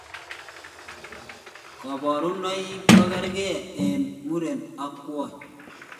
Kabarunoik kokergei en muren ak kwonyik